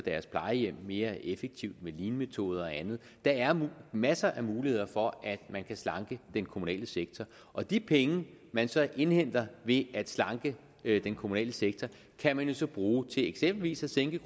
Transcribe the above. deres plejehjem mere effektivt med leanmetoder og andet der er masser af muligheder for at man kan slanke den kommunale sektor og de penge man så indhenter ved at slanke den kommunale sektor kan man jo så bruge til eksempelvis at sænke